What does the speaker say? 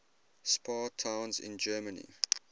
spa towns in germany